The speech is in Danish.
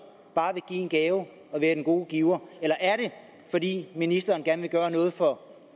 bare vil give en gave og være den gode giver eller er det fordi ministeren gerne vil gøre noget for